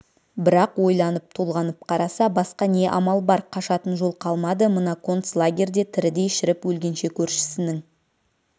бірақ ойланып-толғанып қараса басқа не амал бар қашатын жол қалмады мына концлагерьде тірідей шіріп өлгенше көршісінің